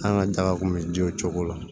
An ka daga kun bɛ ji wo cogo la